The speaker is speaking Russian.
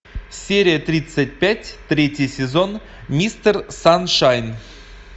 серия тридцать пять третий сезон мистер саншайн